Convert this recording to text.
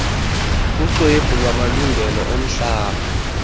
kuxwebhu lwamalungelo omhlaba